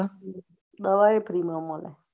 દવા એ Free માં મળે